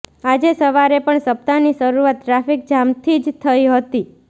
આજે સવારે પણ સપ્તાહની શરૂઆત ટ્રાફિક જામથી જ થઈ હતી